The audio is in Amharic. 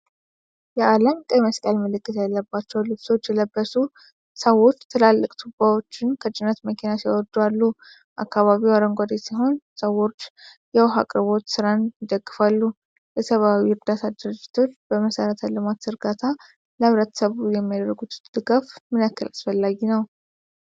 የዓለም ቀይ መስቀል ምልክት ያለባቸው ልብሶች የለበሱ ሰዎች ትላልቅ ቱቦዎችን ከጭነት መኪና ሲያወርዱ አሉ። አካባቢው አረንጓዴ ሲሆን፣ ሰዎች የውሃ አቅርቦት ሥራን ይደግፋሉ። የሰብዓዊ ዕርዳታ ድርጅቶች በመሠረተ ልማት ዝርጋታ ለሕብረተሰቡ የሚያደርጉት ድጋፍ ምን ያህል አስፈላጊ ነው?